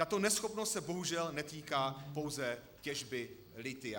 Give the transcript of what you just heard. Tato neschopnost se bohužel netýká pouze těžby lithia.